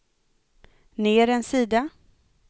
ner en sida